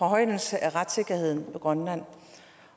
højnelse af retssikkerheden i grønland